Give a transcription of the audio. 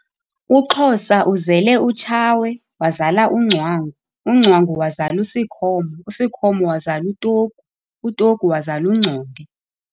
UXhosa uzele uTshawe wazala uNgcwangu, uNgcwangu wazala uSikhomo, uSikhomo wazala uTogu, uTogu wazala uNgconde.